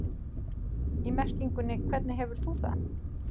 í merkingunni hvernig hefur þú það?